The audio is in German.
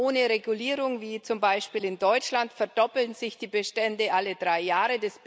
Ohne Regulierung, wie zum Beispiel in Deutschland, verdoppeln sich die Bestände alle drei Jahre.